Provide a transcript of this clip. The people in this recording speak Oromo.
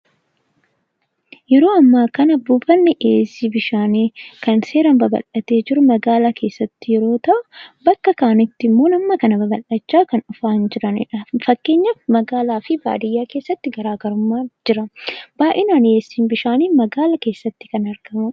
Yeroo ammaa kana buufanni dhiyeessii bishaanii kan seeraan babal'atee jiru magaalaa keessatti yeroo ta'u, bakka kaanitti immoo hamma kana babal'achaa kan dhufaa hin jirredha. Fakkeenyaaaf magaalaa fi baadiyaa keessatti garaa garummaan jira. Baay'inaan dhiyeessiin bishaanii magaala eessatti kan argamudha.